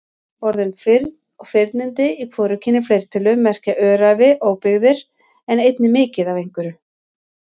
Orðin firn og firnindi í hvorugkyni fleirtölu merkja öræfi, óbyggðir en einnig mikið af einhverju.